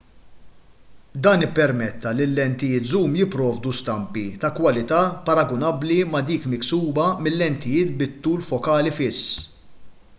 dan ippermetta li l-lentijiet żum jipprovdu stampi ta' kwalità paragunabbli ma' dik miksuba mil-lentijiet bit-tul fokali fiss